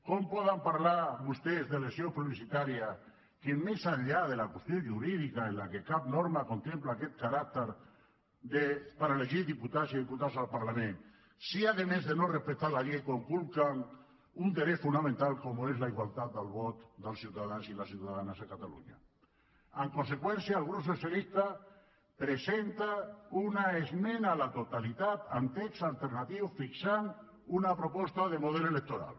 com poden parlar vostès d’elecció plebiscitària més enllà de la qüestió jurídica que cap norma contempla aquest caràcter per elegir diputats i diputades al parlament si a més de no respectar la llei conculquen un dret fonamental com és la igualtat del vot dels ciutadans i les ciutadanes de catalunya en conseqüència el grup socialista presenta una esmena a la totalitat amb text alternatiu que fixa una proposta de model electoral